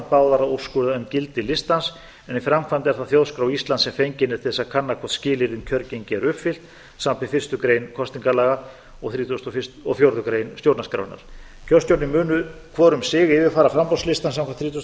báðar að úrskurða um gildi listans en í framkvæmd er það þjóðskrá íslands sem fengin er til þess að kanna hvort skilyrði um kjörgengi eru uppfyllt samanber fyrstu grein kosningalaga og þrítugustu og fjórðu grein stjórnarskrárinnar kjörstjórnirnar munu hvor um sig yfirfara framboðslistann samkvæmt þrítugustu og